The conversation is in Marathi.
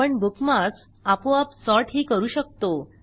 आपण बुकमार्कस आपोआप सॉर्टही करू शकतो